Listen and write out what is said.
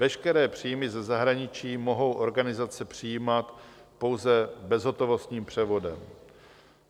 Veškeré příjmy ze zahraničí mohou organizace přijímat pouze bezhotovostním převodem.